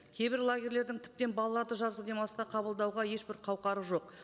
кейбір лагерлердің тіптен балаларды жазғы демалысқа қабылдауға ешбір қауқары жоқ